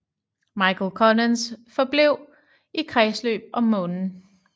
Michael Collins forblev i kredsløb om Månen